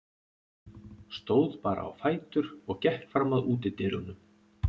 Stóð bara á fætur og gekk fram að útidyrunum.